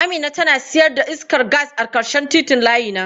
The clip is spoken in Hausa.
Amina tana sayar da iskar gas a ƙarshen titin layina.